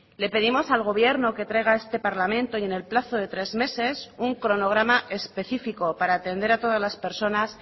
le pedimos al gobierno que traiga a este parlamento y en el plazo de tres meses un cronograma específico para atender a todas las personas